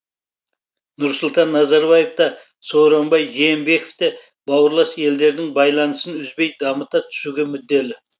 нұрсұлтан назарбаев та сооронбай жээнбеков те бауырлас елдердің байланысын үзбей дамыта түсуге мүдделі